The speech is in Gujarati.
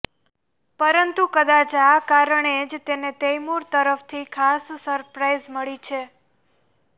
પરંતુ કદાચ આ કારણે જ તેને તૈમૂર તરફથી ખાસ સરપ્રાઈઝ મળી છે